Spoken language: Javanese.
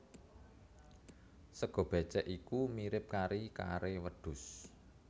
Sega bécèk iku mirip kari kare wedhus